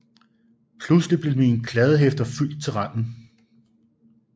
Pludselig blev mine kladdehæfter fyldt til randen